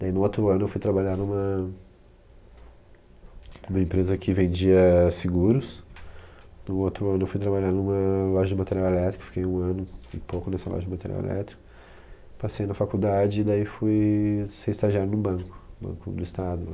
Daí no outro ano eu fui trabalhar numa numa empresa que vendia seguros, no outro ano eu fui trabalhar numa loja de material elétrico, fiquei um ano e pouco nessa loja de material elétrico, passei na faculdade e daí fui ser estagiário no banco, no banco do estado lá.